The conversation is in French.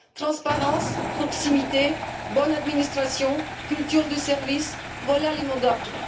Transparence, proximité, bonne administration, culture du service, voilà les mots d'ordre.